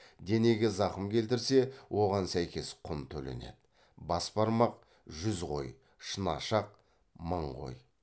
денеге зақым келтірсе оған сәйкес құн төленеді